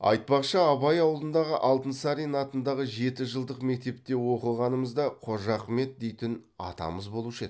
айтпақшы абай ауылындағы алтынсарин атындағы жетіжылдық мектепте оқығанымызда қожа ахмет дейтін атамыз болушы еді